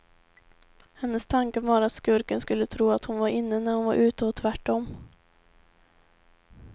Hennes tanke var att skurken skulle tro att hon var inne när hon var ute och tvärt om.